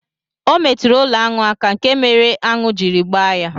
Ọ metụrụ ụlọ̣anụ aka, nke mere aṅụ jiri gbaa ya